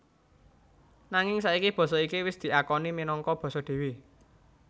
Nanging saiki basa iki wis diakoni minangka basa dhéwé